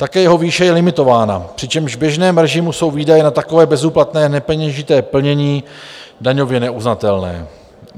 Také jeho výše je limitována, přičemž v běžném režimu jsou výdaje na takové bezúplatné nepeněžité plnění daňově neuznatelné.